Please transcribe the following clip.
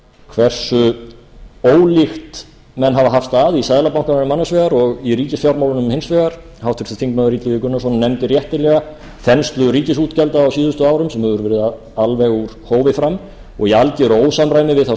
hversu ólíkt menn hafa haft að í seðlabankanum annars vegar og í ríkisfjármálunum hins vegar og háttvirtur þingmaður illugi gunnarsson nefndi réttilega þenslu ríkisútgjalda á síðustu árum sem hefur verið alveg úr hófi fram og í algeru ósamræmi við þá